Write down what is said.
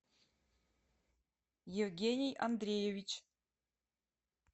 евгений андреевич